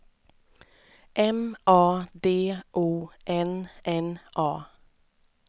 M A D O N N A